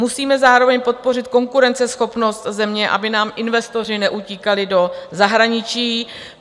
Musíme zároveň podpořit konkurenceschopnost země, aby nám investoři neutíkali do zahraničí.